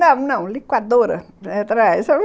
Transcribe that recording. Não, não, liquidificadora.